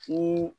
Ko